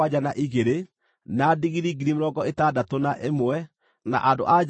Nuthu ya igai rĩa andũ arĩa maarũĩte mbaara-inĩ ciarĩ: ngʼondu 337,500,